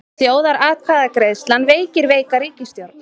Þjóðaratkvæðagreiðslan veikir veika ríkisstjórn